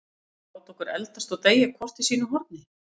Ætlarðu að láta okkur eldast og deyja hvort í sínu horni?